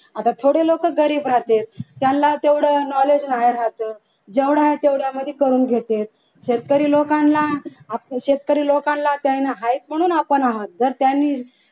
आता थोडी लोक गरीब राहतात त्यांना तेवढं knowledge नाय राहतं जेवढा आहे तेवढा मध्ये करुन घेतेत शेतकरी लोकांना आपल्या शेतकरी लोकांना ते आहेत ना म्हणून आपण आहे जर त्यांनी